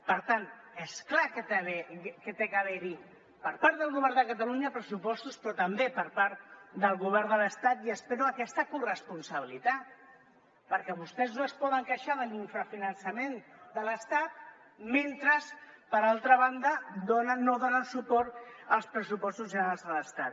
per tant és clar que ha d’haver hi per part del govern de catalunya pressupostos però també per part del govern l’estat i espero aquesta corresponsabilitat perquè vostès no es poden queixar de l’infrafinançament de l’estat mentre per altra banda no donen suport als pressupostos generals de l’estat